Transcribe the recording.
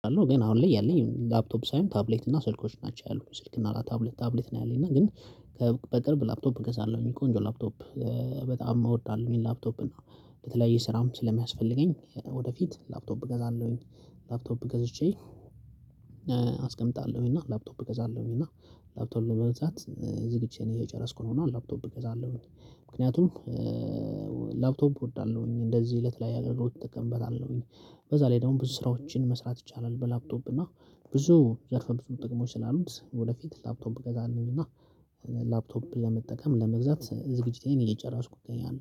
አለው ግን አሁን ላይ ያለኝ ላፕቶፕ ሳይሆን ታብሌት እና ስልኮች ናቸው ያሉት ስልክ እና ታብሌት ታብሌት ነው ያለኝ እና ግን በቅርብ ላፕቶፕ እገዛለሁኝ ቆንጆ ላፕቶፕ። በጣም እወዳለሁ የላፕቶፕ እና በተለያየ ስራም ስለሚያስፈልገኝ ወደፊት ላፕቶፕ እገዛለሁኝ። ላፕቶፕ ገዝቼ አስቀምጣለሁኝ እና ላፕቶፕ እገዛለሁኝ እና ላፕቶፕ ለመግዛት ዝግጅቴን እየጨረስኩ ነው እና ላፕቶፕ እገዛለሁ። ምክንያቱም ላፕቶፕ እወዳለሁኝ እንደዚህ እለት ላይ አገልግሎት አጠቀምበታለሁኝ በዛ ላይ ደግሞ ብዙ ስራዎችን መስራት ይቻላል። በላፕቶፕ እና ብዙ ያልፈልፍል ጥቅሞች ስላሉት ወደፊት ላፕቶፕ ገዛልንና። ላፕቶፕን ለመጠቀም ለመግዛት ዝግጅቴን እየጨራስኩ እገኛለሁ